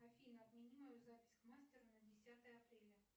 афина отмени мою запись к мастеру на десятое апреля